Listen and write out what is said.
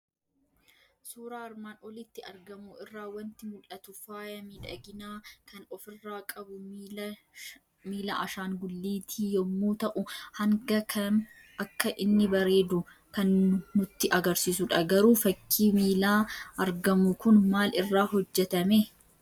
Suuraa armaan olitti argamu irraa waanti mul'atu; Faaya miidhaginaa kan of irraa qabu miila ashaangulliiti yommuu ta'u hanga kam akka inni bareedu kan nutti agarsiisudha. Garuu fakkii miilaa argamu kun maal irraa hojjetamee?